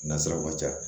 Nasiraw ka ca